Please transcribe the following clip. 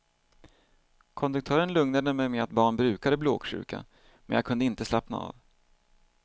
Konduktören lugnade mig med att barn brukade bli åksjuka men jag kunde inte slappna av.